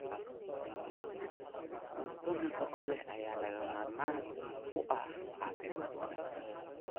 Cunto nafaqo leh ayaa lagama maarmaan u ah caafimaadka wanaagsan.